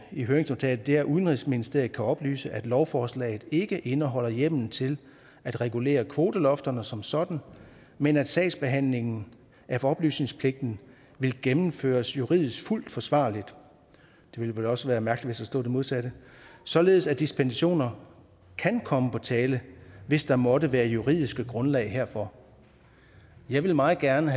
i høringsnotatet er udenrigsministeriet kan oplyse at lovforslaget ikke indeholder hjemmel til at regulere kvotelofterne som sådan men at sagsbehandlingen af oplysningspligten vil gennemføres juridisk fuldt forsvarligt det ville vel også være mærkeligt hvis der stod det modsatte således at dispensationer kan komme på tale hvis der måtte være juridisk grundlag herfor jeg vil meget gerne